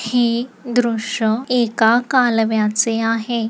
हे दृश एका कालव्याचे आहे.